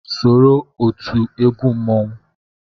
Soro otu ndị egwu mmanwụ